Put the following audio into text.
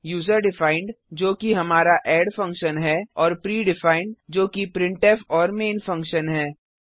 user defined जो कि हमारा एड फंक्शन है और pre डिफाइंड जो कि प्रिंटफ और मैन फंक्शन है